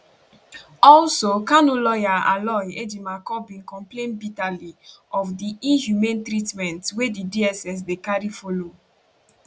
also kanu lawyer aloy ejimakor bin complain bitterly of di inhumane treatment wey di dss dey carry follow